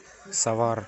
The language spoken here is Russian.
савар